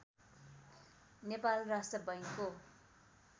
नेपाल राष्ट्र बैंकको